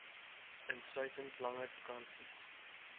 insluitend langer vakansies